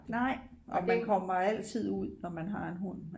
Nej og man kommer altid ud når man har en hund